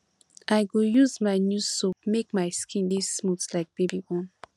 i go use my new soap make my skin dey smooth like baby own